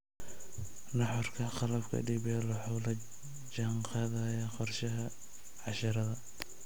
Nuxurka qalabka DPL wuxuu la jaan qaadayaa qorshayaasha casharrada.